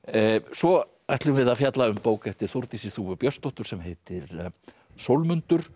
svo ætlum við að fjalla um bók eftir Þórdísi þúfu Björnsdóttur sem heitir